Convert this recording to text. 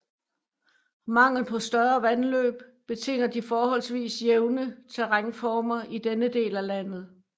Manglen på større vandløb betinger de forholdsvis jævne terrænformer i denne del af landet